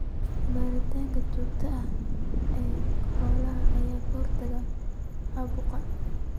Baaritaanka joogtada ah ee xoolaha ayaa ka hortagaya caabuqa.